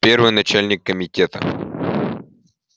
первый начальник комитета